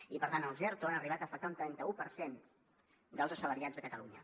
i per tant els erto han arribar a afectar un trenta un per cent dels assalariats de catalunya